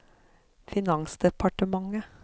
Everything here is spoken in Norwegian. finansdepartementet